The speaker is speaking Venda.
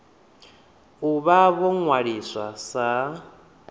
u vha vho ṅwaliswa sa